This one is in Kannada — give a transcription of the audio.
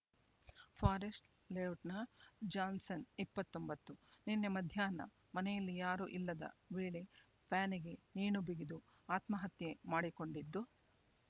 ಫಾರೆಸ್ಟ್ ಲೇಔಟ್‌ನ ಜಾನ್ಸ್‌ಸನ್ ಇಪ್ಪತ್ತೊಂಬತ್ತು ನಿನ್ನೆ ಮಧ್ಯಾಹ್ನ ಮನೆಯಲ್ಲಿ ಯಾರೂ ಇಲ್ಲದ ವೇಳೆ ಫ್ಯಾನಿಗೆ ನೇಣುಬಿಗಿದು ಆತ್ಮಹತ್ಯೆ ಮಾಡಿಕೊಂಡಿದ್ದು